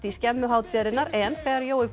skemmu hátíðarinnar en þegar Jói